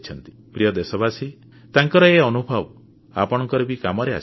ପ୍ରିୟ ଦେଶବାସୀ ତାଙ୍କର ଏ ଅନୁଭବ ଆପଣଙ୍କର ବି କାମରେ ଆସିପାରେ